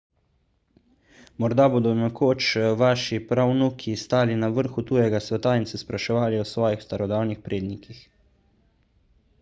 morda bodo nekoč vaši pravnuki stali na vrhu tujega sveta in se spraševali o svojih starodavnih prednikih